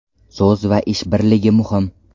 So‘z va ish birligi muhim.